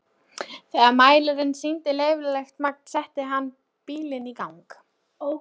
Þegar mælirinn sýndi leyfilegt magn setti hann bílinn í gang.